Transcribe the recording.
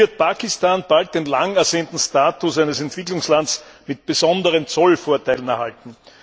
Nun wird Pakistan bald den langersehnten Status eines Entwicklungslands mit besonderen Zollvorteilen erhalten.